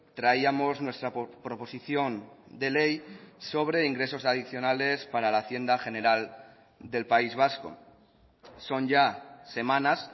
traíamos nuestra proposición de ley sobre ingresos adicionales para la hacienda general del país vasco son ya semanas